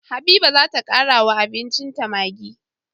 Habiba zata kara wa abincin ta maggi